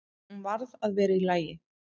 Hún varð að vera í lagi.